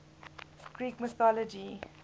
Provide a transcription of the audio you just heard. greek mythology